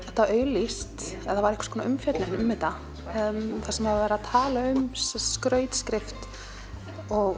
þetta auglýst eða það var umfjöllun um þetta þar sem var verið að tala um skrautskrift og